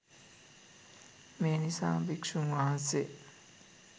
මේ නිසාම භික්ෂූන් වහන්සේ